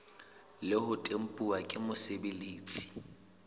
le ho tempuwa ke mosebeletsi